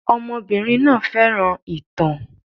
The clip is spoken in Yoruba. Ọmọbìnrin náà fẹ́ràn ìtàn.